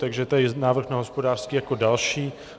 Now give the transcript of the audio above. Takže to je návrh na hospodářský jako další.